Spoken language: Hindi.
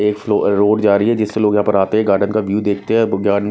एक फ्लावर रोड जा रही है जिसे लोग यहां पर आते हैं गार्डन का व्यू देखते है गान--